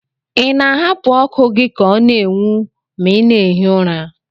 Ị na-ahapụ ọkụ gị ka ọ na-enwu ma ị na-ehi ụra?